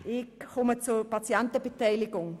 Ich komme zur Patientenbeteiligung.